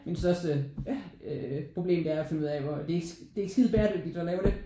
Mit største problem det er at finde ud af hvor det er det er ikke skide bæredygtigt at lave det